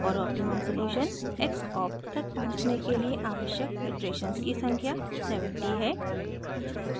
और optimum solution xopt तक पहुँचने के लिए आवश्यक इटरेशन्स की संख्या 70 है